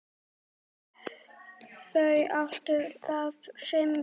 Þau áttu þá fimm börn.